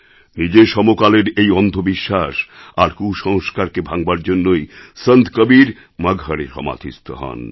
নিজের সমকালের এই অন্ধবিশ্বাস আর কুসংস্কারকে ভাঙবার জন্যেই সন্ত কবীর মগহরে সমাধিস্থ হন